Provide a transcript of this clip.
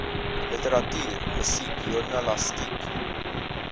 literatuur musiek joernalistiek